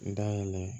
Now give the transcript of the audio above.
Dayɛlɛ